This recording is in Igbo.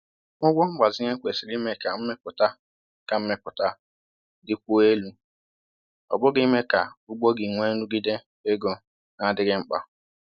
Ụgwọ mgbazinye kwesịrị ime ka mmepụta ka mmepụta dịkwuo elu, ọ bụghị ime ka ugbo gị nwee nrụgide ego na-adịghị mkpa